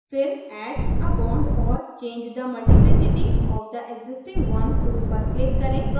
फिर add a bond or change the multiplicity of the existing one tool पर click करें